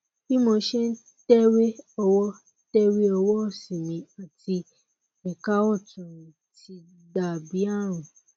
bí mo ṣe ń tẹwé ọwọ tẹwé ọwọ òsì mi àti ẹka ọtún mi ti dà bí ààrùn